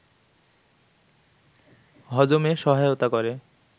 হজমে সহায়তা করে